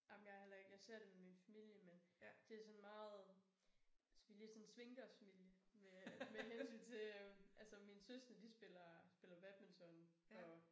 Ej men jeg er heller ikke jeg ser det med min familie men det sådan meget altså vi lidt sådan en svingdørsfamilie med med hensyn til at altså mine søskende de spiller spiller badminton og